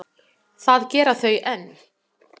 Það gera þau enn.